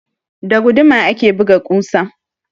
Da guduma ake buga ƙusa